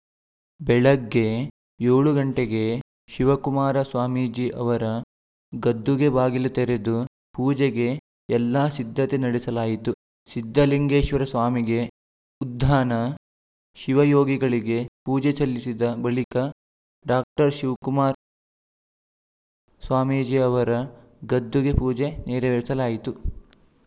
ಬೆಳಗ್ಗೆ ಏಳು ಗಂಟೆಗೆ ಶಿವಕುಮಾರ ಸ್ವಾಮೀಜಿ ಅವರ ಗದ್ದುಗೆ ಬಾಗಿಲು ತೆರೆದು ಪೂಜೆಗೆ ಎಲ್ಲಾ ಸಿದ್ಧತೆ ನಡೆಸಲಾಯಿತು ಸಿದ್ಧಲಿಂಗೇಶ್ವರ ಸ್ವಾಮಿಗೆ ಉದ್ದಾನ ಶಿವಯೋಗಿಗಳಿಗೆ ಪೂಜೆ ಸಲ್ಲಿಸಿದ ಬಳಿಕ ಡಾಕ್ಟರ್ ಶಿವಕುಮಾರ್ ಸ್ವಾಮೀಜಿ ಅವರ ಗದ್ದುಗೆ ಪೂಜೆ ನೆರವೇರಿಸಲಾಯಿತು